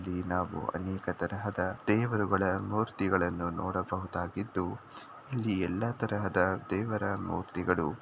ನಾವು ವಿಗ್ರಹಗಳ ದೇವರುಗಳ ಮೂರ್ತಿಗಳನ್ನು ನೋಡಬಹುದಾಗಿದ್ದು ಈ ಎಲ್ಲಾ ತರಹದ ದೇವರ ಮೂರ್ತಿಗಳು--